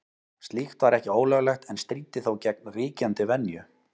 Slíkt var ekki ólöglegt en stríddi þó gegn ríkjandi venju.